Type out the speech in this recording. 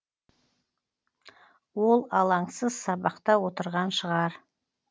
ол алаңсыз сабақта отырған шығар